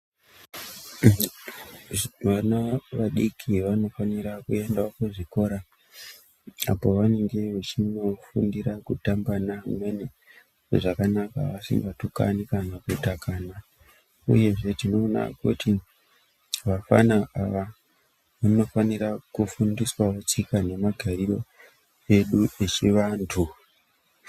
Vana vadiki vanofanira kuenda kuzvikorra apo vanenge vechinofundira kutamba neamweni zvakanaka vasingatukani kana kutanana. Uyezve tinoona kuti vafana ava vanofanira kufundiswawo tsika nemagariro edu echivantu.